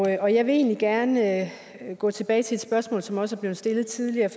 jeg vil egentlig gerne gå tilbage til et spørgsmål som også er blevet stillet tidligere